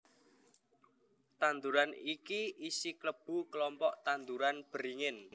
Tanduran iki isi klebu kelompok tanduran beringin